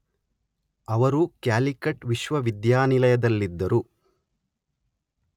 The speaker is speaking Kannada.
ಅವರು ಕ್ಯಾಲಿಕಟ್ ವಿಶ್ವವಿದ್ಯಾನಿಯದಲ್ಲಿದ್ದರು